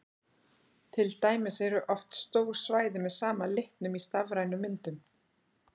Til dæmis eru oft stór svæði með sama litnum í stafrænum myndum.